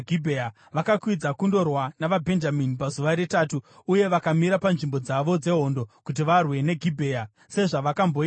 Vakakwidza kundorwa navaBhenjamini pazuva retatu uye vakamira panzvimbo dzavo dzehondo kuti varwe neGibhea sezvavakamboita kare.